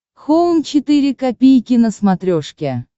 хоум четыре ка на смотрешке